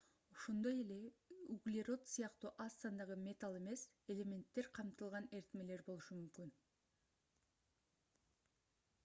ошондой эле углерод сыяктуу аз сандагы металл эмес элементтер камтылган эритмелер болушу мүмкүн